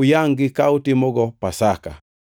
uyangʼ-gi ka utimogo Pasaka.